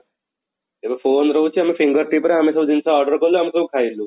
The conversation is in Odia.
ଏବେ phone ରହୁଛି ଆମେ finger tip ରେ ଆମେ ସବୁ ଜିନିଷ order କଲୁ ଆମେ ସବୁ ଖାଇଲୁ